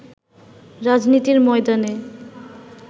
রাজনীতির ময়দানে